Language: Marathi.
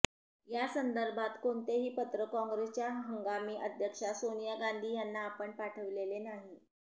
यासंदर्भात कोणतेही पत्र काँग्रेसच्या हंमागी अध्यक्षा सोनिया गांधी यांना आपण पाठविलेले नाही